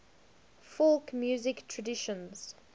folk music traditions